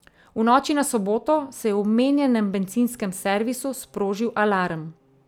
V noči na soboto se je v omenjenem bencinskem servisu sprožil alarm.